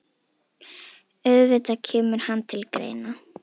Auðvitað kemur hann til greina.